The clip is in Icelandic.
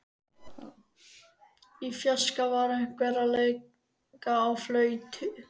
Í fjarska var einhver að leika á flautu.